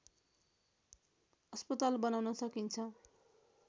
अस्पताल बनाउन सकिन्छ